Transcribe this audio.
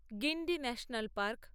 Guindy national park